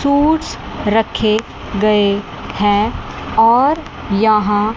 suits रखे गए हैं और यहां--